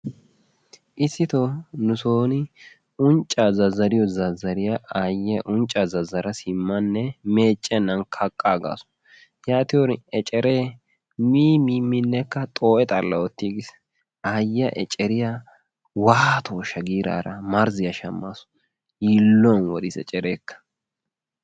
Issito nu sooni unccaa zazzariyo zazzariya aayyiya uncca zazzara simmanne meeccennan kaqqaagaasu. Yaatiyorin eceree mii minne xoo'e xalla oottiigiis. Yaatiyorin aayyiya eceriya waatooshsha giiraara marzziya shammaasu. Yiilluwan woriis ecereekka.